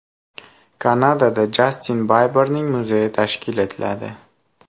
Kanadada Jastin Biberning muzeyi tashkil etiladi.